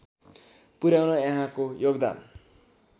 पुर्‍याउन यहाँको योगदान